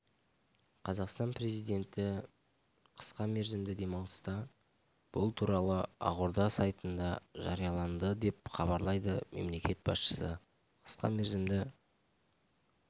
қазақстан президенті қысқа мерзімді демалыста бұл туралы ақорда сайтында жарияланды деп хабарлайды мемлекет басшысы қысқа мерзімді